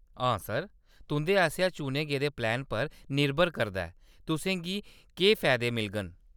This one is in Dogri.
हां, सर, तुंʼदे आसेआ चुने गेदे प्लान पर निर्भर करदा ऐ, तुसें गी एह्‌‌ फैदे मिलङन।